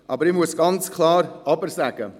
Allerdings muss ich ein ganz klares Aber sagen.